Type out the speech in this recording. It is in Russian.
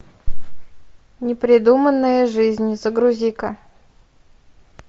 непридуманная жизнь загрузи ка